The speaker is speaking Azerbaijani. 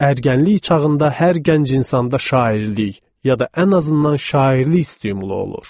Ərgənlik çağında hər gənc insanda şairlik ya da ən azından şairlik stimulu olur.